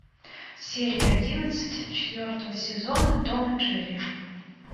серия одиннадцать четвертого сезона том и джерри